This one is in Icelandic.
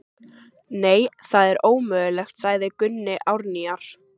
Nei, það er ómögulegt, sagði Gunni Árnýjar.